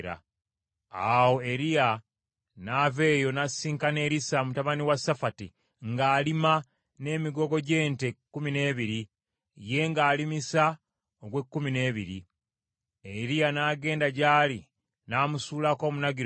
Awo Eriya n’ava eyo n’asisinkana Erisa mutabani wa Safati ng’alima n’emigogo gy’ente kkumi n’ebiri, ye ng’alimisa ogw’ekkumi n’ebiri. Eriya n’agenda gy’ali n’amusuulako omunagiro gwe.